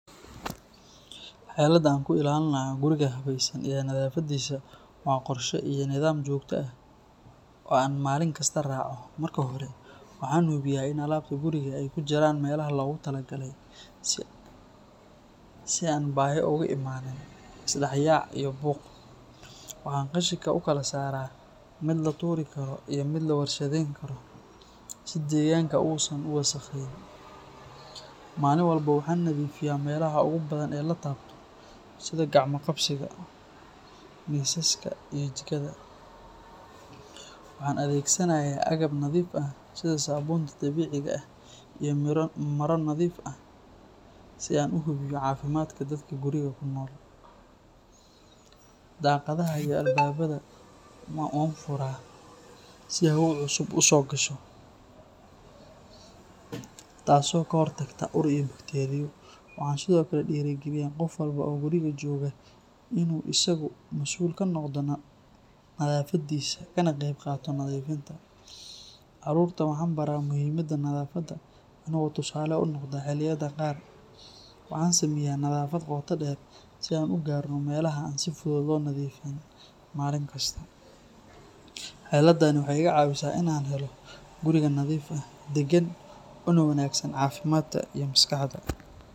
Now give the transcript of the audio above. Xeeladda aan ku ilaalinayo guriga habaysan iyo nadaafaddiisa waa qorshe iyo nidaam joogto ah oo aan maalin kasta raaco. Marka hore, waxaan hubiyaa in alaabta guriga ay ku jiraan meelaha loogu talagalay si aan baahi ugu imaanin is dhex yaac iyo buuq. Waxaan qashinka u kala saaraa mid la tuuri karo iyo mid la warshadeyn karo, si deegaanka uusan u wasakheyn. Maalin walba waxaan nadiifiyaa meelaha ugu badan ee la taabto sida gacmo-qabsiga, miisaska iyo jikada. Waxaan adeegsanayaa agab nadiif ah sida saabuunta dabiiciga ah iyo maro nadiif ah si aan u hubiyo caafimaadka dadka guriga ku nool. Daaqadaha iyo albaabada waan furaa si hawo cusub u soo gasho, taas oo ka hortagta ur iyo bakteeriyo. Waxaan sidoo kale dhiirrigeliyaa qof walba oo guriga jooga in uu isagu masuul ka noqdo nadaafadiisa, kana qaybqaato nadiifinta. Caruurta waxaan baraa muhiimadda nadaafadda anigoo tusaale u noqda. Xilliyada qaar waxaan sameeyaa nadaafad qoto dheer si aan u gaarno meelaha aan si fudud loo nadiifin maalin kasta. Xeeladdani waxay iga caawisaa inaan helo guriga nadiif ah, deggan, una wanaagsan caafimaadka iyo maskaxda.